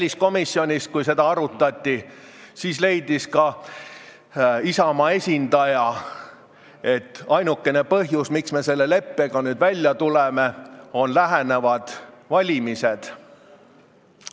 Kui seda ettepanekut väliskomisjonis arutati, leidis ka Isamaa esindaja, et ainukene põhjus, miks me sellega nüüd välja tuleme, on lähenevad valimised.